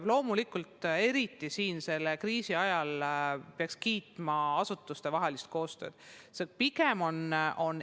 Loomulikult, eriti selle kriisi ajal peaks kiitma asutustevahelist koostööd.